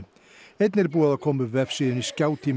einnig er búið að koma upp vefsíðunni